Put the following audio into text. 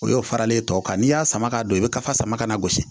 O y'o faralen tɔ kan n'i y'a sama ka don i bɛ kasa sama ka na gosi